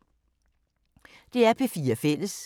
DR P4 Fælles